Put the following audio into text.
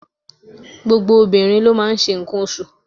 Gbogbo obìnrin ló n máa n se ǹkan osù